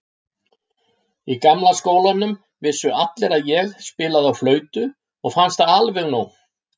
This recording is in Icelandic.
Í gamla skólanum vissu allir að ég spilaði á flautu og fannst það alveg nóg.